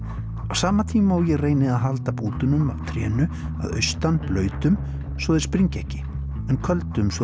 á sama tíma og ég reyni að halda bútunum af trénu að austan blautum svo þeir springi ekki en köldum svo